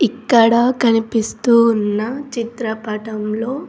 ఇక్కడ కనిపిస్తూ ఉన్న చిత్రపటంలో.